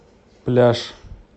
пляж